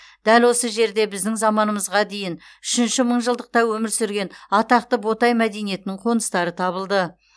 дәл осы жерде біздің заманымызға дейін үшінші мыңжылдықта өмір сүрген атақты ботай мәдениетінің қоныстары табылды